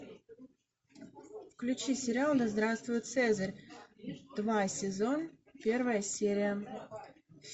включи сериал да здравствует цезарь два сезон первая серия